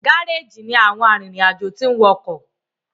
Gáréèjì ní àwọn arinrin-ajo tin wò ọkọ